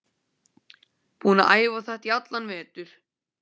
Búinn að æfa þetta í allan vetur.